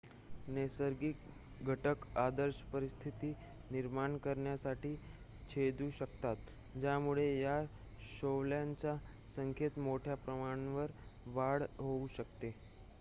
नैसर्गिक घटक आदर्श परिस्थिती निर्माण करण्यासाठी छेदू शकतात ज्यामुळे या शैवालच्या संख्येत मोठ्याप्रमाणावर वाढ होऊ शकते